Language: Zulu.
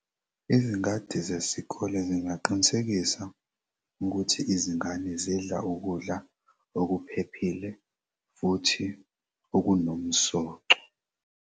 Izingadi zesikole zingaqinisekisa ukuthi izingane zidla ukudla okuphephile futhi okunomsoco.